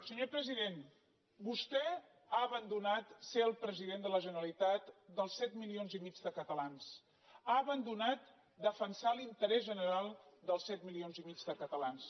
senyor president vostè ha abandonat ser el president de la generalitat dels set milions i mig de catalans ha abandonat defensar l’interès general dels set milions i mig de catalans